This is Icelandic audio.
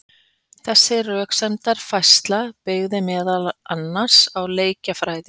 Þessi röksemdafærsla byggði meðal annars á leikjafræði.